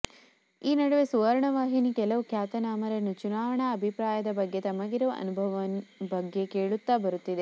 ಈ ನಡುವೆ ಸುವರ್ಣ ವಾಹಿನಿ ಕೆಲವು ಖ್ಯಾತನಾಮರನ್ನು ಚುನಾವಣಾ ಅಭಿಪ್ರಾಯದ ಬಗ್ಗೆ ತಮಗಿರುವ ಅನುಭವ ಬಗ್ಗೆ ಕೇಳುತ್ತಾ ಬರುತ್ತಿದೆ